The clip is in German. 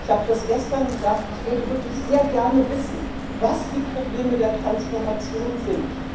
Ich habe das gestern gesagt Ich würde wirklich sehr gerne wissen, was die Probleme der Transformation sind.